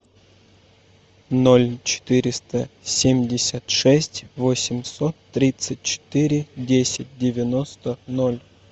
ноль четыреста семьдесят шесть восемьсот тридцать четыре десять девяносто ноль